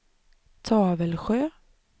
Tavelsjö